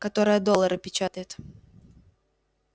которая доллары печатает